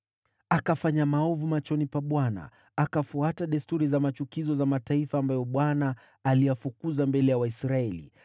Akafanya maovu machoni pa Bwana , akafuata desturi za machukizo za mataifa ambayo Bwana aliyafukuza mbele ya Waisraeli.